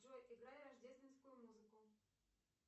джой играй рождественскую музыку